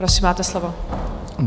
Prosím, máte slovo.